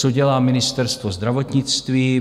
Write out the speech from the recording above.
Co dělá Ministerstvo zdravotnictví?